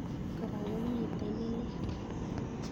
Kora komitei ne lel.